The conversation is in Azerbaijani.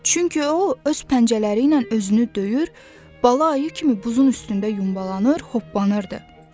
Çünki o öz pəncələri ilə özünü döyür, bala ayı kimi buzun üstündə yumbalanır, hoppanırdı.